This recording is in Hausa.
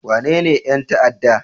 Wanene 'yan ta'adda?